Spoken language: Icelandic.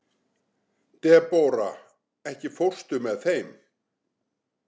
Debóra, ekki fórstu með þeim?